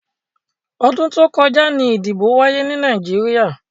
Ọdún tó kọjá ni ìdìbò wáyé ni Nàìjíríà.